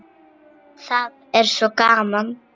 Það er svo gaman.